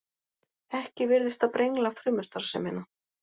Ekki virðist það brengla frumustarfsemina.